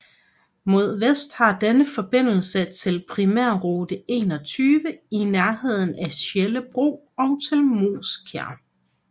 Mod vest har denne forbindelse til Primærrute 21 i nærheden af Sjellebro og til Moeskær